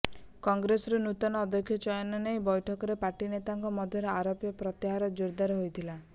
କଂଗ୍ରେସର ନୂତନ ଅଧ୍ୟକ୍ଷ ଚୟନ ନେଇ ବୈଠକରେ ପାର୍ଟି ନେତାଙ୍କ ମଧ୍ୟରେ ଆରୋପ ପ୍ରତ୍ୟାରୋପ ଜୋରଦାର ହୋଇଥିଲା